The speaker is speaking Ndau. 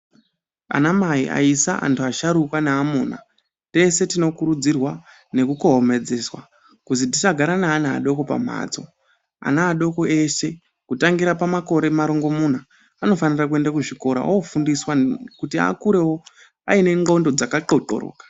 Anamai ayisa antu asharukwa nevamuna tese tinokurudzirwa nekukohomedzeswa kuzi tisagara neana adoko pamhatso. Ana adoko ese kutangira pamakore marongomuna anofanira kuenda kuzvikora ofundiswa kuti akurewo aine ndxondo dzaka qoqoroka.